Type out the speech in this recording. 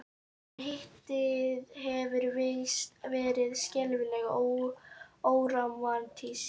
En Hittið hefur víst verið skelfilega órómantískt.